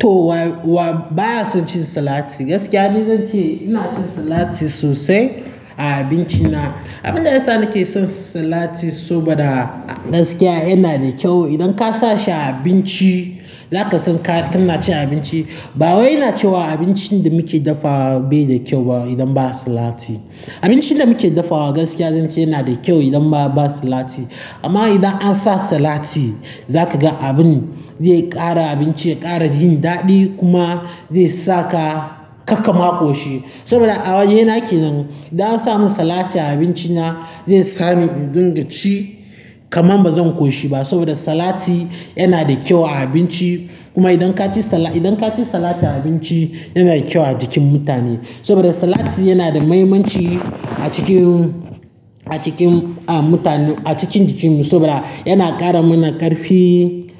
To wa-wa baya son cin salati, gaskiya ni zan ce ina cin salati sosai a abinci na. Abin da yasa nake son salati saboda gaskiya yana da kyau. Idan ka sa shi a abinci, za ka san ka, ka na cin abinci. Ba wai ina cewab abincin da muke dafawa bai da kyau ba idan ba salati. Abincin da muke dafawa gaskiya zan ce yana da kyau idan ba-ba salati. Amma idan an sa salati, za ka ga abin zai ƙara abinci ya ƙara yin daɗi kuma zai sa ka, kar ka lulllma ƙoshi. Saboda a waje ina ke nan, idan an sa mun salati a abinci na, zai sa ni in dinga ci kamar ba zan ƙoshi ba saboda salati yana da kyau a abinci. Kuma idan ka ci sala-- idan ka ci salati a abinci, yana da kyau a jikin mutane. Saboda salati yana da mahimmanci a cikin, a cikin, a muta-- a cikin jikin mu saboda yana ƙara mana ƙarfi,